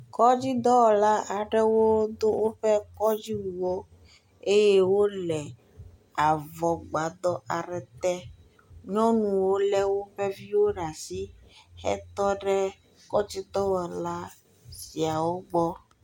Kɔdzidɔwɔla aɖewo do woƒe kɔdziwu eye wole avɔgbadɔ aɖe te. Nyɔnuwo lé woƒe viwo ɖe asi etɔ ɖe kɔdzidɔwɔla siawo gbɔ.